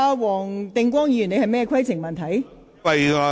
黃定光議員，你有甚麼規程問題？